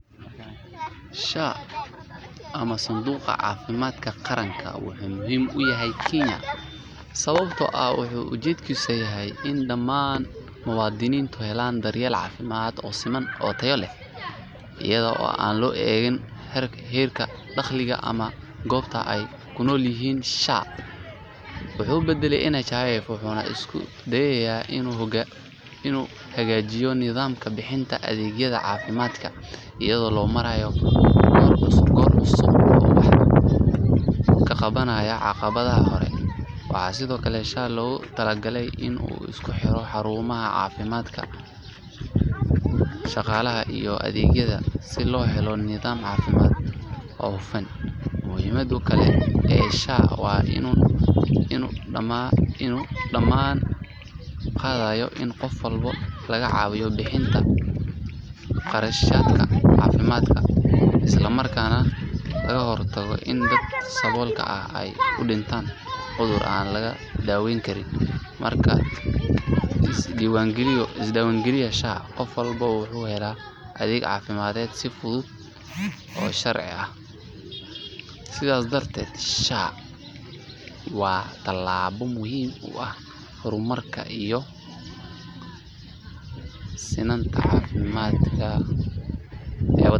SHA ama Sanduuqa Caafimaadka Qaranka wuxuu muhiim u yahay Kenya sababtoo ah wuxuu ujeedkiisu yahay in dhammaan muwaadiniinta helaan daryeel caafimaad oo siman oo tayo leh iyada oo aan loo eegayn heerka dakhliga ama goobta ay ku nool yihiin. SHA wuxuu badalay NHIF wuxuuna isku dayayaa inuu hagaajiyo nidaamka bixinta adeegyada caafimaadka iyadoo loo marayo qorshe cusub oo wax ka qabanaya caqabadihii hore. Waxaa sidoo kale SHA loogu talagalay in uu isku xiro xarumaha caafimaadka, shaqaalaha iyo adeegyada si loo helo nidaam caafimaad oo hufan. Muhiimadda kale ee SHA waa in uu damaanad qaadayo in qof walba laga caawiyo bixinta qarashaadka caafimaad isla markaana laga hortago in dadka saboolka ah ay u dhintaan cudur aan laga daweyn karin. Marka la isdiiwaangeliyo SHA, qof walba wuxuu helayaa adeeg caafimaad si fudud oo sharci ah. Sidaas darteed SHA waa talaabo muhiim u ah horumarka iyo sinnaanta caafimaadka ee dalka Kenya.